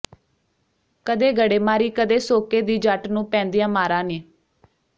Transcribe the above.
ਕਦੇ ਗੜੇਮਾਰੀ ਕਦੇ ਸੋਕੇ ਦੀ ਜੱਟ ਨੂੰ ਪੈਂਦੀਆਂ ਮਾਰਾ ਨੇ